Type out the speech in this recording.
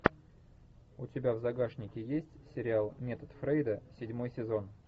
у тебя в загашнике есть сериал метод фрейда седьмой сезон